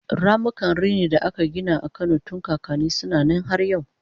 ramukan rini da aka Gina a Kano tun kakanni suna Nan har yau